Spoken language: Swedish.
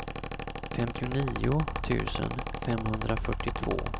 femtionio tusen femhundrafyrtiotvå